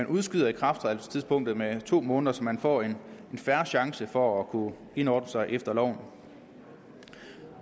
udskyder ikrafttrædelsestidspunktet med to måneder så man får en fair chance for at kunne indordne sig efter loven